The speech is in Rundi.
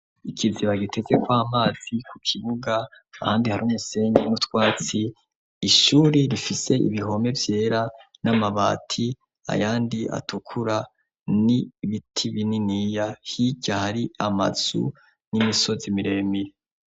Ikiziba gitezeko amazi ku kibuga, ahandi hari umusenyi n'utwatsi, ishuri rifise ibihome vyera n'amabati, ayandi atukura n'ibiti bininiya, hirya hari amazu n'imisozi miremire.